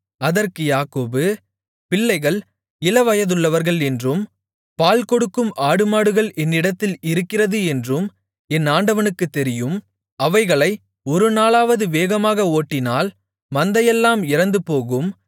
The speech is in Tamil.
அதற்கு யாக்கோபு பிள்ளைகள் இளவயதுள்ளவர்கள் என்றும் பால்கொடுக்கும் ஆடுமாடுகள் என்னிடத்தில் இருக்கிறது என்றும் என் ஆண்டவனுக்குத் தெரியும் அவைகளை ஒரு நாளாவது வேகமாக ஓட்டினால் மந்தையெல்லாம் இறந்துபோகும்